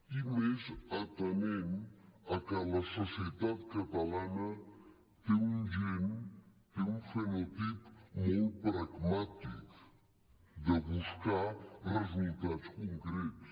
i més atenent al fet que la societat catalana té un gen té un fenotip molt pragmàtic de buscar resultats concrets